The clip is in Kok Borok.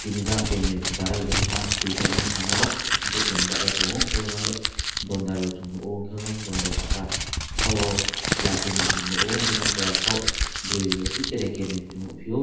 jang kainwi barrel hinma twide ungmo samok borok kainwi bachai tongo hwnkhe oh jang yang dondairok chung nukgo hwnkhe yang dondai saka khao kla kainwi chung nukgo jang tola khao bwrwi ochi tre kainwi chung nukphio.